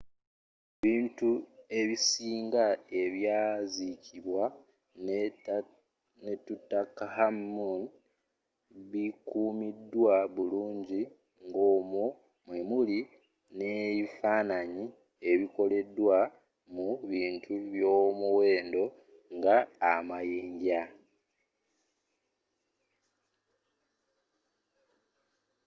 ebintu ebisinga ebyazzikibwa ne tutankhamun bikumiddwa bulungi ng'omwo mwemili neifananyi ebikoleddwa mu bintu byomuwenddo nga amayinja